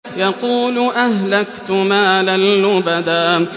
يَقُولُ أَهْلَكْتُ مَالًا لُّبَدًا